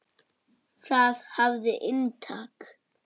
Það hafði inntak.